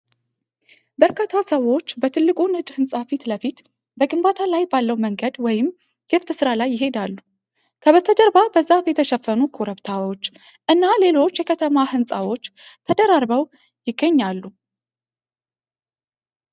በርካታ ሰዎች በትልቁ ነጭ ሕንፃ ፊት ለፊት በግንባታ ላይ ባለው መንገድ ወይም ክፍት ስፍራ ላይ ይሄዳሉ። ከበስተጀርባ በዛፍ የተሸፈኑ ኮረብታዎች እና ሌሎች የከተማ ሕንፃዎች ተደራርበው ይገኛሉ።